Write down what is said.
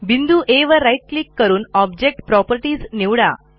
बिंदू आ वर राईट क्लिक करून ऑब्जेक्ट प्रॉपर्टीज निवडा